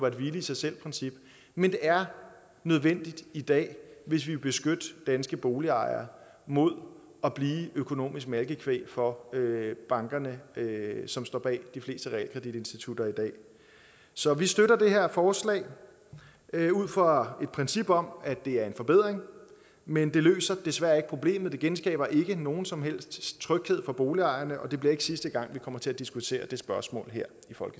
et hvile i sig selv princip men det er nødvendigt i dag hvis vi vil beskytte danske boligejere mod at blive økonomisk malkekvæg for bankerne som står bag de fleste realkreditinstitutter i dag så vi støtter det her forslag ud fra et princip om at det er en forbedring men det løser desværre ikke problemet det genskaber ikke nogen som helst tryghed for boligejerne og det bliver ikke sidste gang vi kommer til at diskutere det spørgsmål her